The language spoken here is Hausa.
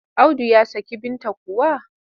Audu ya saki Binta kuwa?